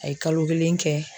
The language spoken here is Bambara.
A ye kalo kelen kɛ